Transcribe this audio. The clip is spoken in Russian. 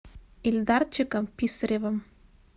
ильдарчиком писаревым